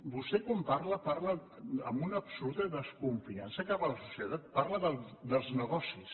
vostè quan parla parla amb una absoluta desconfiança cap a la societat parla dels negocis